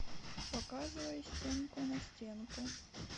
показывай стенку на стенку